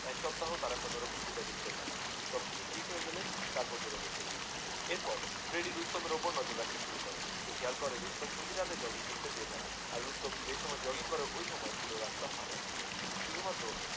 এক সপ্তাহ তারা কোনো রকম যোগাযোগ করলেন না সব কিছু ঠিক হয়ে গেলে তারপর যোগাযোগ করবে এর পর ফ্রেডি রুস্তমের ওপর নজর রাখতে শুরু করে সে খেয়াল করে রুস্তম প্রতি রাতে জগিং করতে বের হয় আর রুস্তম যেই সময় জগিং করে সেই সময়ে পুরো রাস্তা ফাঁকা থাকে শুধুমাত্র